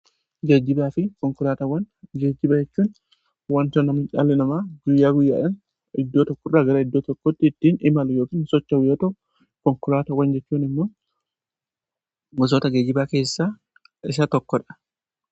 jejibaa fi konkoraatawwan jejjibachuun wantonamacaali namaa guyyaa guyyaaan iddoo tokko irraa gara iddoo tokkotti iddiin imalu yookiin socha wiyyata konkoraatawwan jechuun immoon musoota geejibaa keessaa isa tokkodha